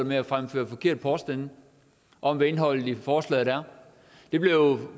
med at fremføre forkerte påstande om hvad indholdet i forslaget er der blev